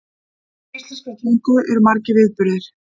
Á degi íslenskrar tungu eru margir viðburðir.